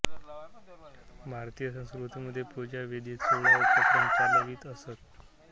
भारतीय संस्कृतीमध्ये पूजा विधीत सोळा उपचार प्रचलित आहेत